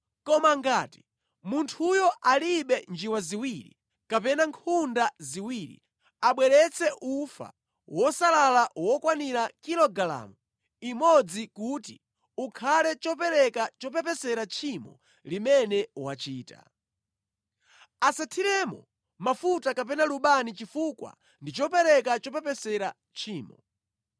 “ ‘Koma ngati munthuyo alibe njiwa ziwiri kapena nkhunda ziwiri, abweretse ufa wosalala wokwanira kilogalamu imodzi kuti ukhale chopereka chopepesera tchimo limene wachita. Asathiremo mafuta kapena lubani chifukwa ndi chopereka chopepesera tchimo.